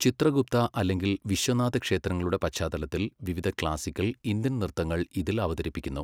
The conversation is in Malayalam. ചിത്രഗുപ്ത അല്ലെങ്കിൽ വിശ്വനാഥ ക്ഷേത്രങ്ങളുടെ പശ്ചാത്തലത്തിൽ വിവിധ ക്ലാസിക്കൽ ഇന്ത്യൻ നൃത്തങ്ങൾ ഇതിൽ അവതരിപ്പിക്കുന്നു.